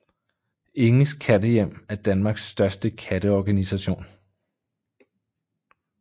Inges Kattehjem er Danmarks største katte organisation